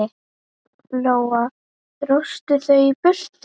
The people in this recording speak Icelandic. Lóa: Dróstu þau í burtu?